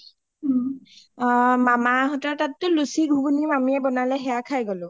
অ মামা হতৰ তাত টো লুচি ঘুগনি মামিয়ে বমালে সেইয়া খাই গ’লো